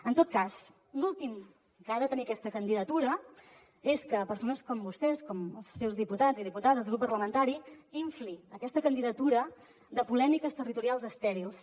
en tot cas l’últim que ha de tenir aquesta candidatura és que persones com vostès com els seus diputats i diputades el grup parlamentari infli aquesta candidatura de polèmiques territorials estèrils